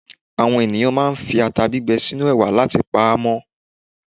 Àwọn ènìyàn máa ń fi ata gbígbẹ sínú ẹ̀wà láti pa á mọ́.